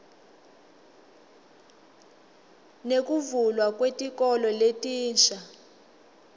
nekuvulwa kwetikolo letinsha